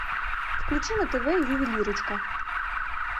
включи на тв ювелирочка